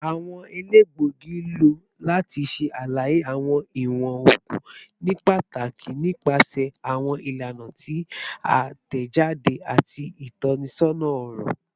Awọn elegbogi lo lati ṣe alaye awọn iwọn oogun nipataki nipasẹ awọn ilana ti a tẹjade ati itọnisọna ọrọ